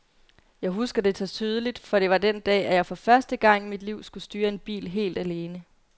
Jeg husker det så tydeligt, for det var den dag, at jeg for første gang i mit liv skulle styre en bil helt alene.